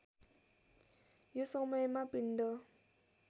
यो समयमा पिण्ड